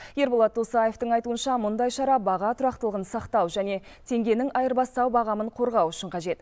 ерболат досаевтың айтуынша мұндай шара баға тұрақтылығын сақтау және теңгенің айырбастау бағамын қорғау үшін қажет